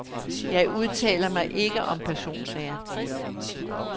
Jeg udtaler mig ikke om personsager.